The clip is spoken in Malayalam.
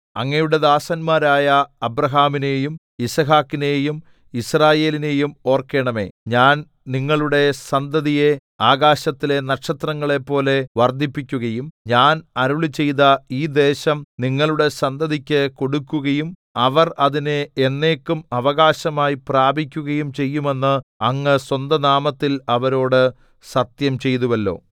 അങ്ങയുടെ ദാസന്മാരായ അബ്രാഹാമിനെയും യിസ്ഹാക്കിനെയും യിസ്രായേലിനെയും ഓർക്കണമേ ഞാൻ നിങ്ങളുടെ സന്തതിയെ ആകാശത്തിലെ നക്ഷത്രങ്ങളെപ്പോലെ വർദ്ധിപ്പിക്കുകയും ഞാൻ അരുളിച്ചെയ്ത ഈ ദേശം നിങ്ങളുടെ സന്തതിക്ക് കൊടുക്കുകയും അവർ അതിനെ എന്നേക്കും അവകാശമായി പ്രാപിക്കുകയും ചെയ്യുമെന്ന് അങ്ങ് സ്വന്തനാമത്തിൽ അവരോട് സത്യംചെയ്തുവല്ലോ